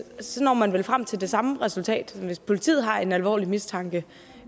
når man vel frem til det samme resultat hvis politiet har en alvorlig mistanke